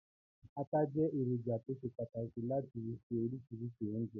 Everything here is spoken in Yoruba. Ata jẹ́ èròjà tó ṣe pàtàkì láti fi se oríṣiríṣi oúnjẹ.